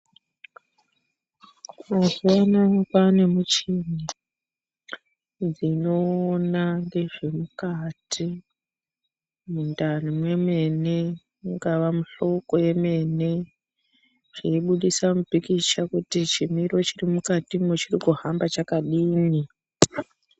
Mazuwanaya kwanemichini dzinoona ngezvemukati mundani mwemene kungawa muhloko yemene dzeibudisa mupikicha kuti chimiro chiri mukatimwo chiri kuhamba chakadini.